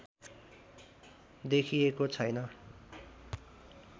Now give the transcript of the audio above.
देखिएको छैन